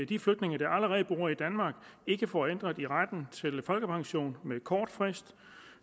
de flygtninge der allerede bor i danmark ikke får ændret i retten til folkepension med kort varsel